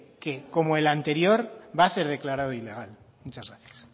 que como el anterior va a ser declarado ilegal muchas gracias